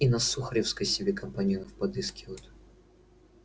и на сухаревской себе компаньонов подыскивают